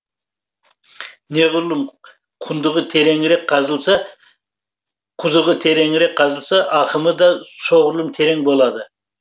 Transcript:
құзығы тереңірек қазылса ақымы да соғұрлым терең болады